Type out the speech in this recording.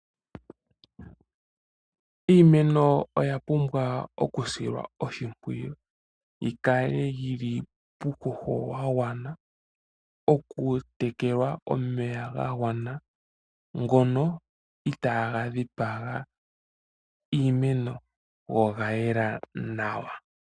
Iimeno oya pumbwa okusilwa oshimpwiyu, yi kale yi li puuhoho wa gwana, okutekelwa omeya ga gwana, ngono itaaga dhipaga iimeno, go oga yela nawa.